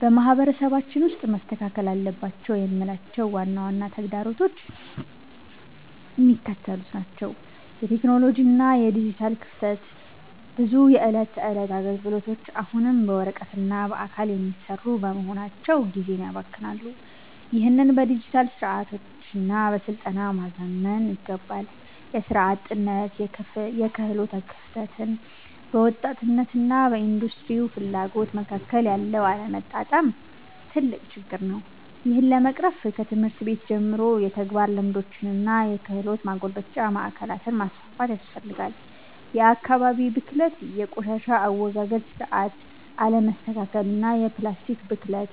በማህበረሰባችን ውስጥ መስተካከል አለባቸው የምላቸው ዋና ዋና ተግዳሮቶች የሚከተሉት ናቸው የቴክኖሎጂ እና የዲጂታል ክፍተት፦ ብዙ የዕለት ተዕለት አገልግሎቶች አሁንም በወረቀትና በአካል የሚሰሩ በመሆናቸው ጊዜን ያባክናሉ። ይህንን በዲጂታል ስርዓቶችና በስልጠና ማዘመን ይገባል። የሥራ አጥነትና የክህሎት ክፍተት፦ በወጣቶችና በኢንዱስትሪው ፍላጎት መካከል ያለው አለመጣጣም ትልቅ ችግር ነው። ይህን ለመቅረፍ ከትምህርት ቤት ጀምሮ የተግባር ልምምዶችንና የክህሎት ማጎልበቻ ማዕከላትን ማስፋፋት ያስፈልጋል። የአካባቢ ብክለት፦ የቆሻሻ አወጋገድ ስርዓት አለመስተካከልና የፕላስቲክ ብክለት።